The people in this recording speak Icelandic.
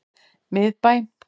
Miðbæ